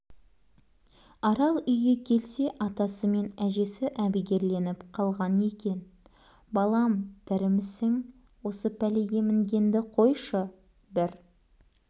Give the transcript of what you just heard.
арал үйге келсе атасы мен әжесі әбігерленіп қалған екен балам тірімісің осы пәлеге мінгенді қойшы бір